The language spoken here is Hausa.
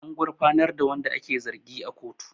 An gurfanar da wanda ake zargi a kotu